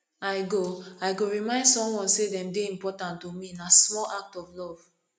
i go i go remind someone say dem dey important to me na small act of love